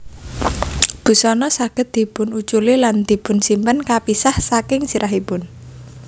Busana saged dipunuculi lan dipunsimpen kapisah saking sirahipun